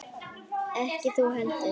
Ekki þú heldur.